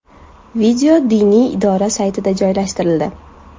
Video diniy idora saytida joylashtirildi .